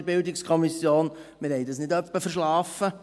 der BiK. Wir haben das nicht etwa verschlafen.